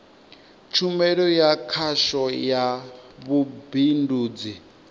tshumelo ya khasho ya vhubindudzi